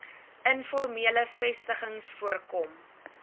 informele vestigings voorkom